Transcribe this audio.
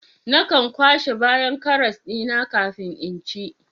Nakan kwashe bayan karas dina kafin in ci